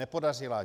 Nepodařila.